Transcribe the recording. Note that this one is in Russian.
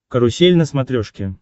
карусель на смотрешке